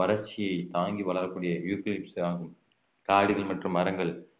வறட்சியை தாங்கி வளரக்கூடிய யூக்கலிப்டஸ் ஆகும் காடுகள் மற்றும் மரங்கள்